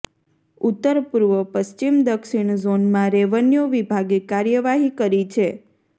ઉત્તર પૂર્વ પશ્ચિમ દક્ષિણ ઝોનમાં રેવન્યુ વિભાગે કાર્યવાહી કરી છે